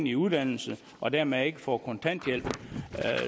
i uddannelse og dermed ikke får kontanthjælp